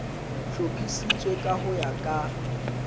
hlophisitswe ka ho ya ka